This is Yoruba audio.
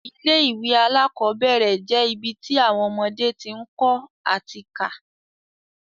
Ilé ìwé alákọ́bẹ̀rẹ̀ je ibi ti awọn ọmọdé ti ń kọ́ ati ká